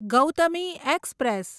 Gautami express